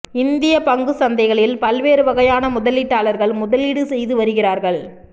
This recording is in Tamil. இந்தியப் பங்குச் சந்தைகளில் பல்வேறு வகையான முதலீட்டாளர்கள் முதலீடு செய்துவருகிறார்கள்